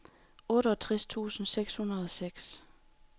otteogtres tusind seks hundrede og seks